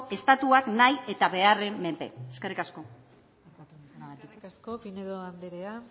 estatuak nahi eta beharren menpe eskerrik asko eskerrik asko pinedo anderea